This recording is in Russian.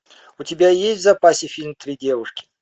у тебя есть в запасе фильм три девушки